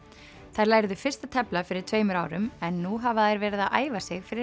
þær lærðu fyrst að tefla fyrir tveimur árum en nú hafa þær verið að æfa sig fyrir